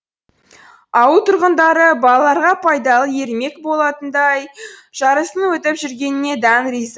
ауыл тұрғындары балаларға пайдалы ермек болатын тай жарыстың өтіп жүргеніне дән риза